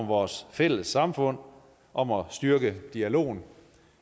vores fælles samfund om at styrke dialogen